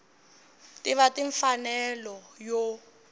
ta va ni mfanelo yo